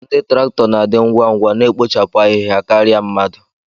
Ndị traktọ na-adị ngwa ngwa na-ekpochapụ ahịhịa karịa mmadụ